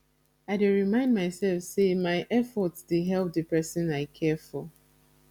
i dey remind myself say my effort dey help the person i dey care for